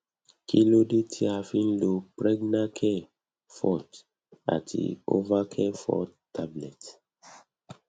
kilode ti a fi n lo pregnacare forte ati ovacare forte tablet